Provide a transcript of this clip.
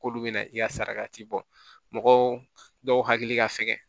K'olu bɛna i ka saraka ti bɔ mɔgɔw dɔw hakili ka fɛgɛn